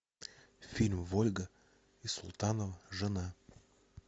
фильм вольга и султанова жена